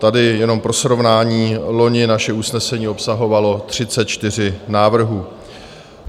Tady jenom pro srovnání, loni naše usnesení obsahovalo 34 návrhů.